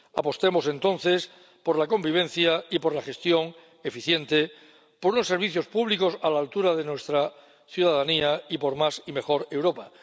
Apostemos entonces por la convivencia y por la gestión eficiente, por unos servicios públicos a la altura de nuestra ciudadanía y por más y mejor Europa.